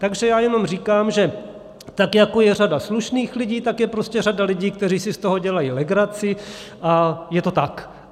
- Takže já jenom říkám, že tak jako je řada slušných lidí, tak je prostě řada lidí, kteří si z toho dělají legraci, a je to tak.